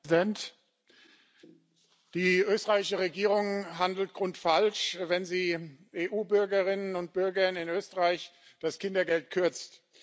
Herr Präsident! Die österreichische Regierung handelt grundfalsch, wenn sie EU Bürgerinnen und Bürgern in Österreich das Kindergeld kürzt.